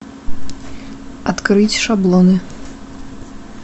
открыть шаблоны